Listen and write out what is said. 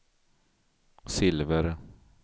silver